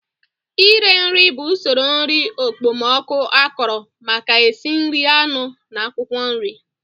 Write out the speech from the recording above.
Ire nri bụ usoro nri okpomọkụ akọrọ maka esi nri anụ na akwụkwọ nri